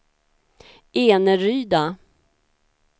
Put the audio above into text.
Eneryda